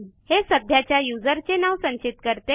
हे सध्याच्या userचे नाव संचित करते